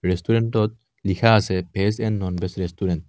ৰেষ্টুৰেন্তখনত লিখা আছে veg and non veg restaurant.